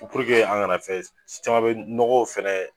an gana fɛn caman be nɔgɔw fɛnɛ